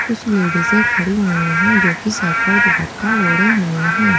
कुछ लेडी सें खड़ी हुई हैं जो कि सर पर दुपट्टा ओड़े हुए हैं।